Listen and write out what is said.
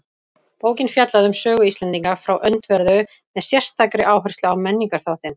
Bókin fjallaði um sögu Íslendinga frá öndverðu með sérstakri áherslu á menningarþáttinn.